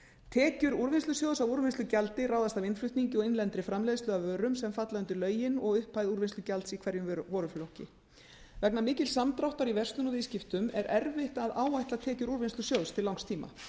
tekjur úrvinnslusjóðs af úrvinnslugjaldi ráðast af innflutningi og innlendri framleiðslu af vörum sem falla undir lögin og upphæð úrvinnslugjalds í hverjum vöruflokki vegna mikils samdráttar í verslun og viðskiptum er erfitt að áætla tekjur úrvinnslusjóðs til langs tíma